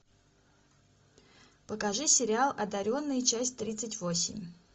покажи сериал одаренные часть тридцать восемь